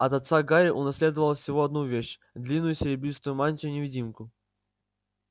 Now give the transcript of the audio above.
от отца гарри унаследовал всего одну вещь длинную серебристую мантию-невидимку